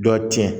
Dɔ tiɲɛ